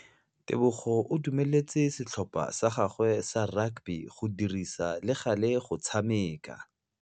Tebogô o dumeletse setlhopha sa gagwe sa rakabi go dirisa le galê go tshameka.